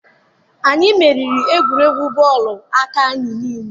Anyị meriri egwuregwu bọọlụ aka anyị niile.